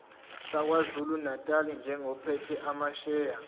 sakwazulunatali njengophethe amasheya